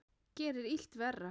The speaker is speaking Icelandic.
Gerir illt verra.